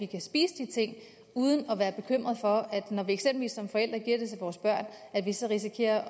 kan spise de ting uden at være bekymret for når vi eksempelvis som forældre giver det til vores børn at vi så risikerer